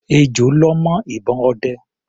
Ejò lọ́ mọ́ ìbọn ọdẹ.